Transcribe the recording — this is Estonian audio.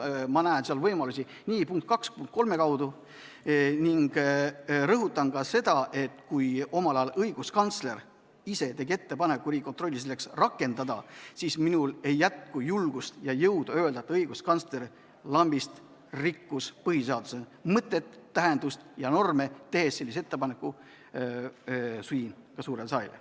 Ma näen võimalusi nii punkti 2 kui ka punkti 3 kaudu ning rõhutan ka seda, et kui omal ajal õiguskantsler ise tegi ettepaneku Riigikontrolli selleks rakendada, siis minul ei jätku julgust ja jõudu öelda, et õiguskantsler lambist rikkus põhiseaduse mõtet, tähendust ja norme, tehes sellise ettepaneku ka siin suurele saalile.